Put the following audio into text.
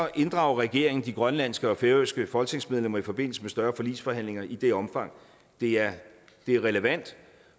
inddrager regeringen de grønlandske og færøske folketingsmedlemmer i forbindelse med større forligsforhandlinger i det omfang det er er relevant